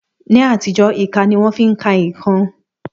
Ní àtijọ́, ìka ni wón fi ń ka ǹkan